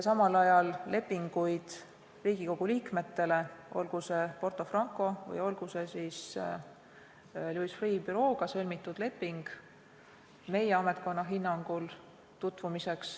Samal ajal peab Riigikogu liikmetel olema õigus tutvuda Porto Francole raha eraldamise materjalidega või Louis Freeh' bürooga sõlmitud lepinguga.